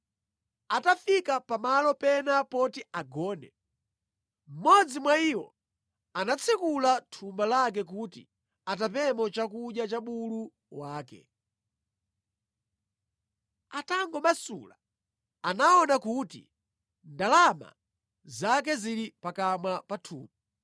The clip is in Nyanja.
Atafika pamalo pena poti agone, mmodzi mwa iwo anatsekula thumba lake kuti atapemo chakudya cha bulu wake. Atangomasula anaona kuti ndalama zake zili pakamwa pa thumba.